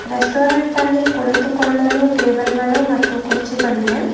Restaurant ಅಲ್ಲಿ ಕುಳಿತುಕೊಳ್ಳಲು table ಗಳು ಮತ್ತು ಕುರ್ಚಿಗಳಿವೆ.